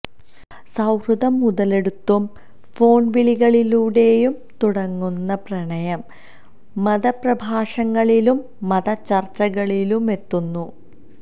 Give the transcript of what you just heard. സൌഹൃദം മുതലെടുത്തും ഫോണ് വിളികളിലൂടെയും തുടങ്ങുന്ന പ്രണയം മതപ്രഭാഷങ്ങളിലും മത ചര്ച്ചകളിലുമെത്തുന്നു